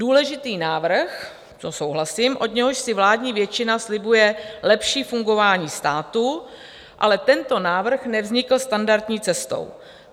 Důležitý návrh, to souhlasím, od něhož si vládní většina slibuje lepší fungování státu, ale tento návrh nevznikl standardní cestou.